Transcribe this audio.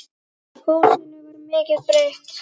Húsinu var mikið breytt.